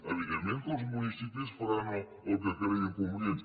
evidentment que els municipis faran el que creguin convenient